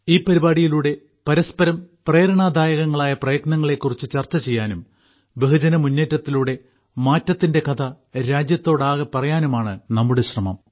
ഈ പരിപാടിയിലൂടെ പരസ്പരം പ്രേരണാദായകങ്ങളായ പ്രയത്നങ്ങളെ കുറിച്ച് ചർച്ച ചെയ്യാനും ബഹുജന മുന്നേറ്റത്തിലൂടെ മാറ്റത്തിന്റെ കഥ രാജ്യത്തോടൊട്ടാകെ പറയാനുമാണ് ഞങ്ങളുടെ ശ്രമം